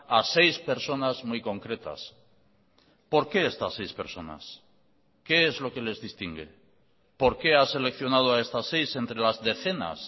a seis personas muy concretas por qué estas seis personas qué es lo que les distingue por qué ha seleccionado a estas seis entre las decenas